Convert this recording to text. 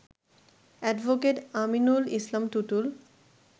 advocate Aminul Islam Tutul